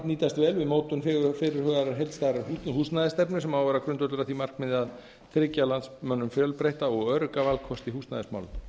nýtast vel við mótun fyrirhugaðrar heildstæðrar húsnæðisstefnu sem á að vera grundvöllur að því markmiði að tryggja landsmönnum fjölbreytta og örugga valkosti í húsnæðismálum þá